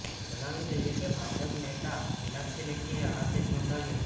જણાવી દઈએ કે ભાજપ નેતા મિનાક્ષી લેખીએ આ કેસ નોંઘાવ્યો હતો